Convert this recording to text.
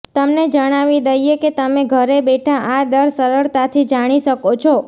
તમને જણાવી દઈએ કે તમે ઘરે બેઠા આ દર સરળતાથી જાણી શકો છો